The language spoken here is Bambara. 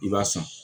I b'a san